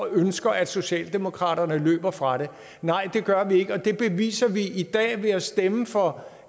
ønsker at socialdemokratiet løber fra det nej det gør vi ikke og det beviser vi i dag ved at stemme for